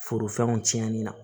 Forofɛnw cɛnni na